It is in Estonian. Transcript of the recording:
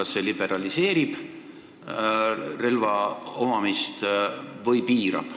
Kas see liberaliseerib või piirab relva omamist?